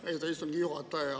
Austatud istungi juhataja!